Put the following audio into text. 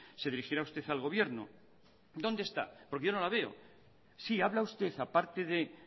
se dirigirá usted al gobierno dónde está porque yo no la veo sí habla usted aparte de